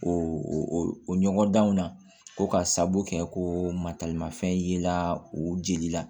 O ɲɔgɔndanw na ko ka sabu kɛ ko mataramafɛn yela o jeli la